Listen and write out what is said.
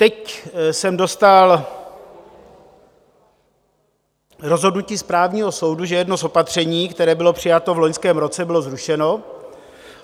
Teď jsem dostal rozhodnutí správního soudu, že jedno z opatření, které bylo přijato v loňském roce, bylo zrušeno.